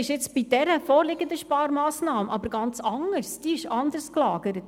Bei der vorliegenden Sparmassnahme ist es jedoch ganz anders, diese ist anders gelagert.